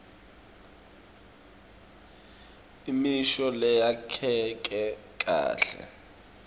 imisho leyakheke kahle